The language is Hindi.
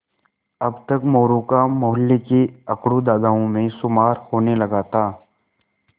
अब तक मोरू का मौहल्ले के अकड़ू दादाओं में शुमार होने लगा था